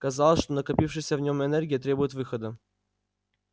казалось что накопившаяся в нем энергия требует выхода